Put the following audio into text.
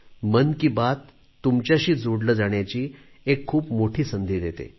मन की बात तुमच्याशी जोडले जाण्याची एक खूप मोठी संधी देते